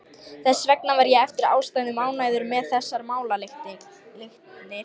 Þess vegna var ég eftir ástæðum ánægður með þessar málalyktir.